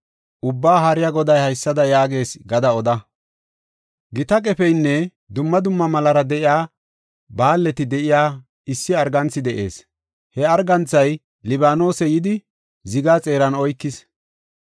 Ubbaa Haariya Goday haysada yaagees gada oda. ‘Gita qefeynne dumma dumma mallara de7iya baalleti de7iya issi arganthi de7ees. He arganthay Libaanose yidi ziga xeeran oykis.